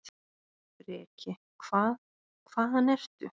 Breki: Hvað, hvaðan ertu?